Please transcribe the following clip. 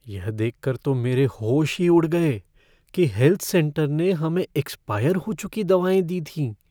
यह देखकर तो मेरे होश ही उड़ गए कि हेल्थ सेंटर ने हमें एक्सपायर हो चुकी दवाएँ दी थीं।